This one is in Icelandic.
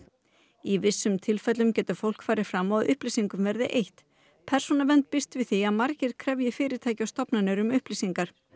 í vissum tilfellum getur fólk farið fram á upplýsingum verði eytt persónuvernd býst við því að margir krefji fyrirtæki og stofnanir um upplýsingar